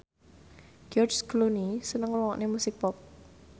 George Clooney seneng ngrungokne musik pop